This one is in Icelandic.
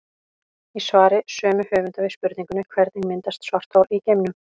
Í svari sömu höfunda við spurningunni Hvernig myndast svarthol í geimnum?